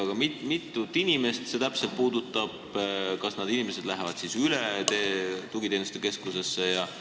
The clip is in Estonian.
Aga mitut inimest see täpselt puudutab ja kas need inimesed lähevad siis üle tugiteenuste keskusesse?